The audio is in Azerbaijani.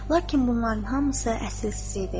Lakin bunların hamısı əsassız idi.